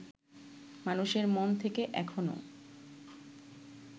মানুষের মন থেকে এখনো